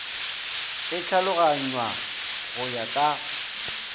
e tlhaloganngwa go ya ka